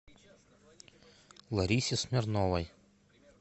ларисе смирновой